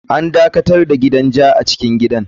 An dakatar da gidan ja a cikin gidan.